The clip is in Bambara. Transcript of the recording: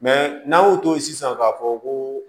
n'an y'o to ye sisan k'a fɔ ko